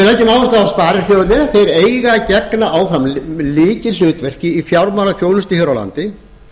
að sparisjóðirnir eiga að gegna áfram lykilhlutverki í fjármálaþjónustu hér á landi